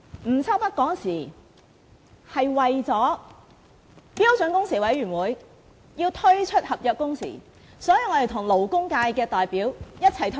吳秋北當時為了標準工時委員會要推出合約工時，跟勞工界代表一起退場。